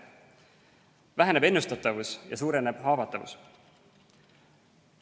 Väheneb ennustatavus ja suureneb haavatavus.